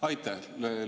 Aitäh!